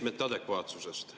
Meetmete adekvaatsusest.